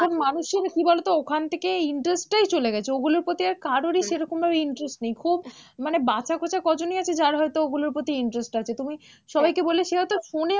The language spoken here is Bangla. এখন মানুষের কি বলো তো ওখান থেকে interest টাই চলে গেছে, ওগুলোর প্রতি আর কারোরই সেরকমভাবে interest নেই, খুব মানে বাঁচা খোঁচা কজনই আছে, যার হয়তো ওগুলোর প্রতি interest আছে, তুমি সবাইকে বললে সে হয়ত শোনে